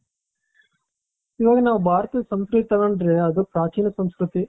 ಇವಾಗ ಭಾರತದ ಸಂಸ್ಕೃತಿಯನ್ನು ತಗೊಂಡರೆ ಅದು ಪ್ರಾಚೀನ ಸಂಸ್ಕೃತಿ.